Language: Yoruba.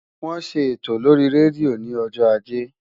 Wọ́n ṣe ètò lórí rédíò ní ọjọ́ ajé.